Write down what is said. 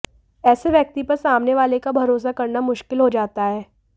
ऐसे व्यक्ति पर सामने वाले का भरोसा करना मुश्किल हो जाता है